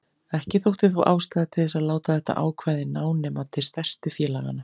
Ekki þótti þó ástæða til þess að láta þetta ákvæði ná nema til stærstu félaganna.